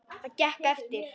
Það gekk eftir.